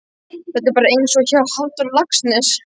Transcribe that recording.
Þetta er bara einsog hjá Halldóri Laxness.